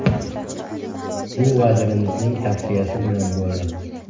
Bu vazirimizning tavsiyasi bilan bo‘ldi.